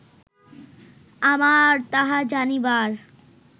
আমার তাহা জানিবার